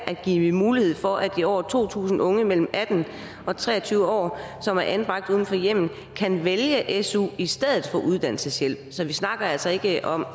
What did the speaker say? at give mulighed for at de over to tusind unge mellem atten og tre og tyve år som er anbragt uden for hjemmet kan vælge su i stedet for uddannelseshjælp så vi snakker altså ikke om